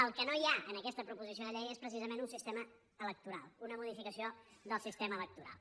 el que no hi ha en aquesta proposició de llei és precisament un sistema electoral una modificació del sistema electoral